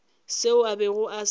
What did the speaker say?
seo a bego a se